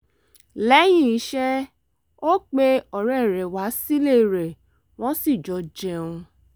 lẹ́yìn iṣẹ́ ó pe ọ̀rẹ́ rẹ̀ wá sílé rẹ̀ wọ́n sì jọ jẹun